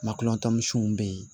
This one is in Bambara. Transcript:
Makɔtansiw bɛ yen